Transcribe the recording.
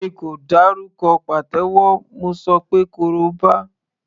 Èmi kò dárúkọ pàtẹ́wọ́, mo ṣọ pé koroba.